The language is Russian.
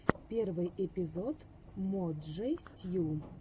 первый эпизод мо джей стью